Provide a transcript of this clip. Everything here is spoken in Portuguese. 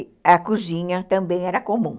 E a cozinha também era comum.